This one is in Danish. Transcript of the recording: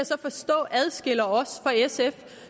så forstå adskiller os fra sf